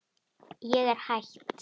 Ég er hætt.